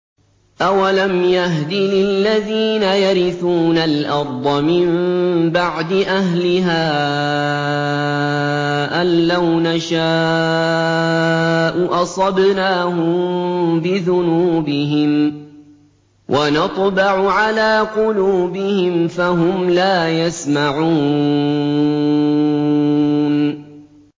أَوَلَمْ يَهْدِ لِلَّذِينَ يَرِثُونَ الْأَرْضَ مِن بَعْدِ أَهْلِهَا أَن لَّوْ نَشَاءُ أَصَبْنَاهُم بِذُنُوبِهِمْ ۚ وَنَطْبَعُ عَلَىٰ قُلُوبِهِمْ فَهُمْ لَا يَسْمَعُونَ